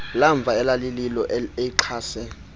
lamva elalililo elixhase